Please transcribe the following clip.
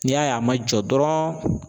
N'i y'a ye a ma jɔ dɔrɔn